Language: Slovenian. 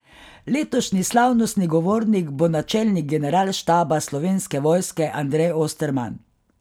Letošnji slavnostni govornik bo načelnik Generalštaba Slovenske vojske Andrej Osterman.